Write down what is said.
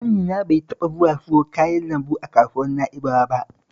Ƙanina bai taɓa zuwa siyo kayan lambu a kasuwar Na'bawa ba